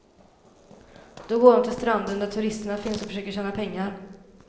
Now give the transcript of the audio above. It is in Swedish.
Då går de till stranden där turisterna finns och försöker tjäna pengar.